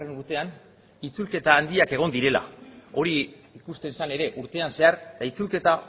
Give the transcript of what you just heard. urtean itzulketa handiak egon direla hori ikusten zen ere urtean zehar eta itzulketa